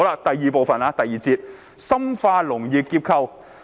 "第二部分，即第二節，題為"深化農業結構調整"。